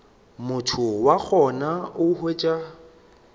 motho wa gona o hwetša